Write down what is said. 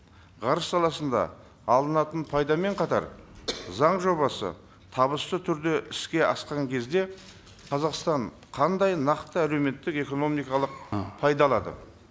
ғарыш саласында алынатын пайдамен қатар заң жобасы табысты түрде іске асқан кезде қазақстан қандай нақты әлеуметтік экономикалық пайда алады